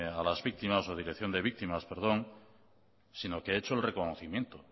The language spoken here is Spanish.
de víctimas sino que he hecho el reconocimiento